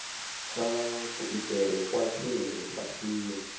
kha kuitele kwa khwine lifhasini